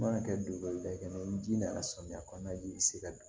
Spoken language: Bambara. Mana kɛ donba kelen ye ni ji nana samiya kɔnɔna de ji bi se ka don